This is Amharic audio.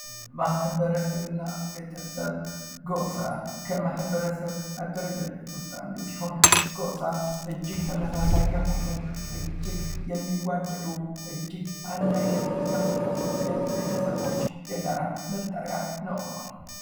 ማህበረሰብ እና ቤተሰብ፦ ጎሳ፦ ከማህበረሰብ አደረጃጀቶች ውስጥ አንዱ ሲሆን ጎሳ እጅግ ተመሳሳይ የሆኑ ፣ እጅግ የሚዋደዱ ፣ እጅግ አንድ አይነት የሆኑ የቤተሰቦች የጋራ መጠሪያ ነው ።